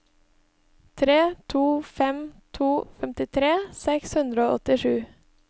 tre to fem to femtitre seks hundre og åttisju